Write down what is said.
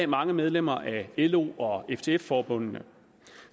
mange medlemmer af lo og ftf forbundene